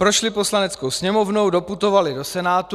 Prošly Poslaneckou sněmovnou, doputovaly do Senátu.